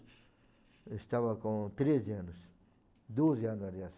Eu estava com treze anos, doze anos, aliás.